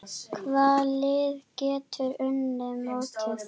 Hvaða lið geta unnið mótið?